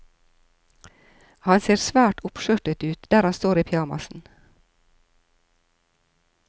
Han ser svært oppskjørtet ut der han står i pysjamasen.